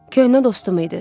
Köhnə dostum idi.